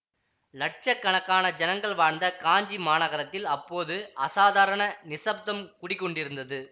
இலட்ச கணக்கான ஜனங்கள் வாழ்ந்த காஞ்சி மாநகரத்தில் அப்போது அசாதாரண நிசப்தம் குடிகொண்டிருந்தது